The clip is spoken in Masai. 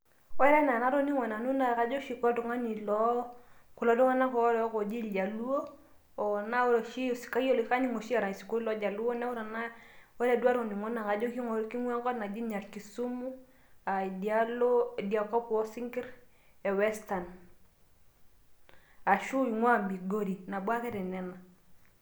ore enaa enatoningo nanu naa kajo oshi koltungani kulo tunganak loo oji irjaluo niaku kaning oshi erany isinkoliotin loljaluo niaku ore duoo atoningo naa kinguaa enkop naji nyarkisumu aa idialo idia kop oosinkir e Western ashu inguaa Migori nabo ake tenena